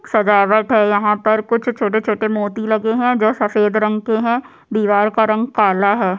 सजावट है यहाँ पर कुछ छोटे-छोटे मोती जो सफ़ेद रंग के है दिवार का रंग काला है।